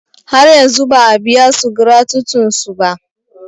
Har yanzu ba a biyansu gratutin su ba.